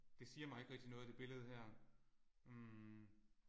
Det siger mig ikke rigtig noget det billede her hm